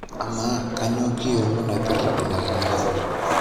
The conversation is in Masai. Ama kanyio kiyiolo naipirta ina kinyiala?